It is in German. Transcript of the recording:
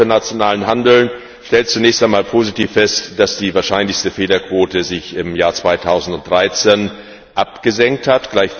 Der Ausschuss für internationalen Handel stellt zunächst einmal positiv fest, dass sich die wahrscheinlichste Fehlerquote im Jahr 2013 abgesenkt hat.